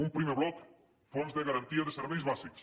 un primer bloc fons de garantia de serveis bàsics